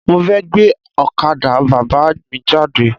Mo fẹ́ gbé ọ̀kadà Bàbá mi jáde.